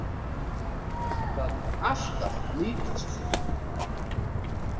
Það mun alltaf nýtast þér.